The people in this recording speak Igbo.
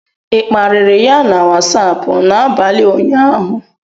ị kparịrị ya na Wasapụ n'abalị ụnyaahụ?